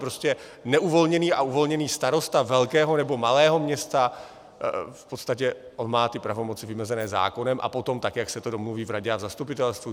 Prostě neuvolněný a uvolněný starosta velkého nebo malého města, v podstatě on má ty pravomoci vymezeny zákonem a potom tak, jak si to domluví v radě a v zastupitelstvu.